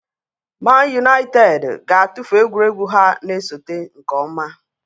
Man Utd ga-atụfu egwuregwu ha na-esote nke ọma.